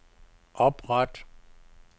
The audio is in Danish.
opret